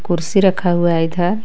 खुर्सी रखा हुआ हे इधर.